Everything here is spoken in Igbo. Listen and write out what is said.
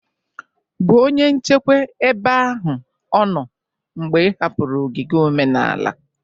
bụ onye nchekwa ebe ahụ o noo mgbe ị hapụrụ ogige omenala